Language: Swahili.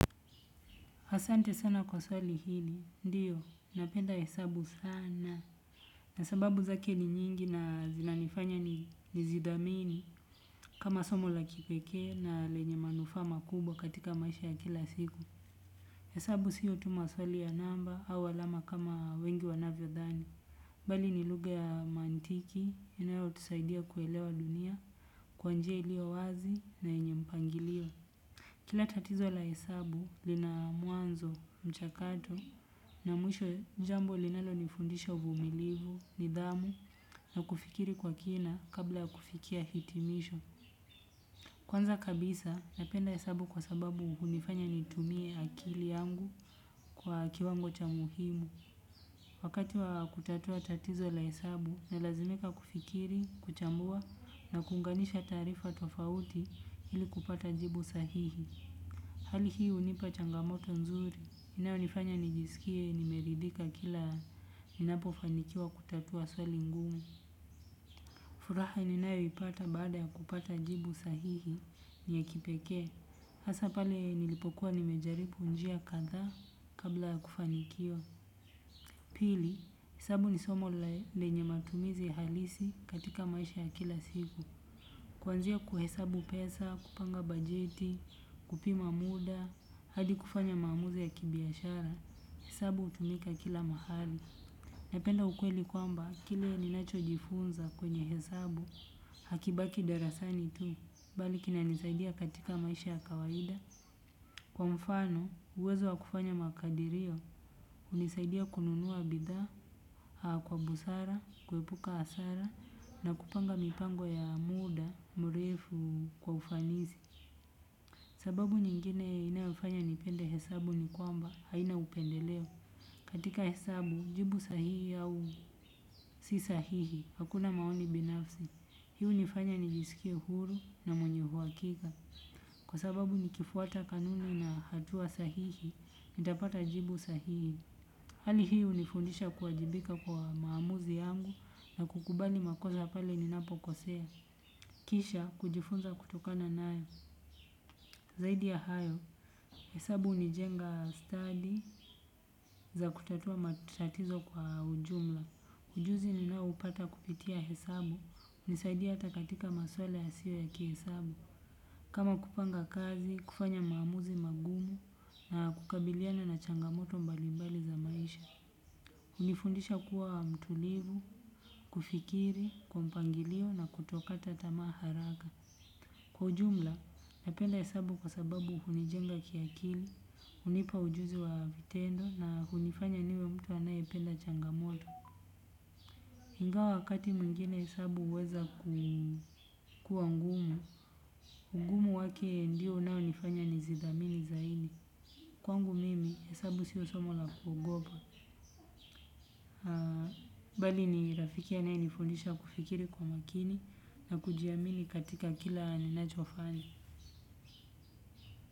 Asante sana kwa swali hili, ndiyo, napenda hesabu sana. Na sababu zake ni nyingi na zinanifanya nizidhamini kama somo la kipekee na lenye manufaa makubwa katika maisha ya kila siku. Hesabu siyo tu maswali ya namba au alama kama wengi wanavyodhani. Bali ni lugha ya mantiki, inayotusaidia kuelewa dunia, kwa nji ilio wazi na yenye mpangilio. Kila tatizo la hesabu lina mwanzo, mchakato na mwisho jambo linalonifundisha uvumilivu, nidhamu na kufikiri kwa kina kabla kufikia hitimisho. Kwanza kabisa napenda hesabu kwa sababu hunifanya nitumie akili yangu kwa kiwango cha muhimu. Wakati wa kutatua tatizo la hesabu nalazimika kufikiri, kuchambua na kuunganisha taarifa tofauti ili kupata jibu sahihi. Hali hii hunipa changamoto nzuri, inayonifanya nijisikie, nimeridhika kila ninapofanikiwa kutatua swali ngumu. Furaha ninayoipata baada ya kupata jibu sahihi, ni ya kipekee. Hasa pale nilipokuwa nimejaribu njia kadhaa kabla ya kufanikiwa. Pili, hesabu ni somo lenye matumizi halisi katika maisha ya kila siku. Kuanzia kuhesabu pesa, kupanga bajeti, kupima muda, hadi kufanya maamuzi ya kibiashara, hesabu hutumika kila mahali. Napenda ukweli kwamba kile ninachojifunza kwenye hesabu, hakibaki darasani tu, bali kinanisaidia katika maisha ya kawaida. Kwa mfano, uwezo wa kufanya makadirio, hunisaidia kununua bidha, haa kwa busara, kuepuka hasara na kupanga mipango ya muda mrefu kwa ufanisi. Sababu nyingine inayofanya nipende hesabu ni kwamba, haina upendeleo. Katika hesabu, jibu sahihi au si sahihi, hakuna maoni binafsi. Hii hunifanya nijisikie huru na mwenye uhakika, kwa sababu nikifuata kanuni na hatua sahihi, nitapata jibu sahihi. Hali hii hunifundisha kuajibika kwa maamuzi yangu na kukubali makosa pale ninapokosea. Kisha kujifunza kutokana nayo. Zaidi ya hayo, hesabu hunijenga study za kutatua matatizo kwa ujumla. Ujuzi ninaoupata kupitia hesabu, hunisaidia hata katika maswala yasiyo ya kihesabu. Kama kupanga kazi, kufanya maamuzi magumu na kukabiliana na changamoto mbalimbali za maisha. Hunifundisha kuwa mtulivu, kufikiri kwa mpangilio na kutokata tamaa haraka. Kwa ujumla, napenda hesabu kwa sababu hunijenga kiakili, hunipa ujuzi wa vitendo na hunifanya niwe mtu anayependa changamoto. Ingawa wakati mwingine hesabu huweza kuwa ngumu, ugumu wake ndio unaonifanya nizithamini zaidi. Kwangu mimi, hesabu sio somo la kuogopa. Bali ni rafiki anaenifondisha kufikiri kwa makini na kujiamini katika kila ninachofanya.